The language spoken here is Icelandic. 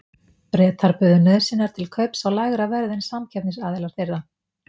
Bretar buðu nauðsynjar til kaups á lægra verði en samkeppnisaðilar þeirra.